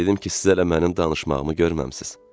Dedim ki, siz hələ mənim danışmağımı görməmisiz.